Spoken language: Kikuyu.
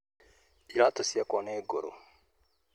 Iratũciakwa nĩ ngũrũ